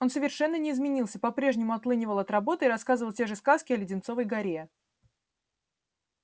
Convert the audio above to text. он совершенно не изменился по-прежнему отлынивал от работы и рассказывал те же сказки о леденцовой горе